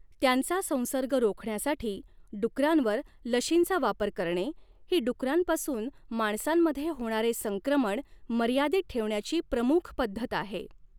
त्यांचा संसर्ग रोखण्यासाठी, डुकरांवर लशींचा वापर करणे, ही डुकरांपासून माणसांमध्ये होणारे संक्रमण मर्यादित ठेवण्याची प्रमुख पद्धत आहे.